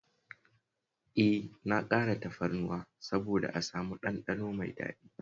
E, na ƙara tafarnuwa saboda a samu ɗanɗano mai daɗi